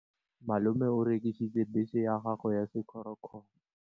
Malome o rekisitse bese ya gagwe ya sekgorokgoro.